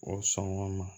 O sɔn o ma